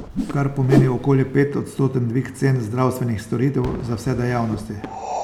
Kar pomeni okoli petodstoten dvig cen zdravstvenih storitev za vse dejavnosti.